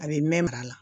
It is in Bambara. A bɛ mɛn mara la